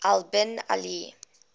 al bin ali